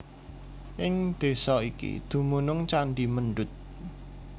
Ing desa iki dumunung candhi Mendut